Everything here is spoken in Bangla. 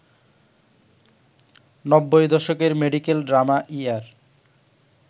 নব্বই দশকের মেডিকেল ড্রামা ইআর